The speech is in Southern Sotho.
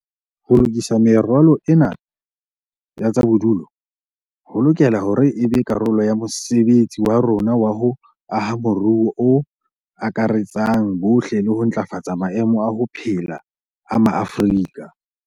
Ho lokisa meralo ena ya tsa bodulo ho lokela hore e be karolo ya mosebetsi wa rona wa ho aha moruo o akaretsang bohle le ho ntlafatsa maemo a ho phela a Maafrika